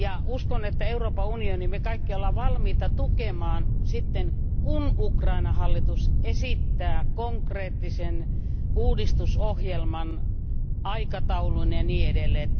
Uskon, että Euroopan unioni ja me kaikki olemme valmiita tukemaan Ukrainaa sitten, kun Ukrainan hallitus esittää konkreettisen uudistusohjelman aikataulun ja niin edelleen.